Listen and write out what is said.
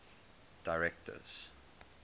directors